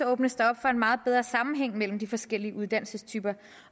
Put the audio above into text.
åbnes der for en meget bedre sammenhæng mellem de forskellige uddannelsestyper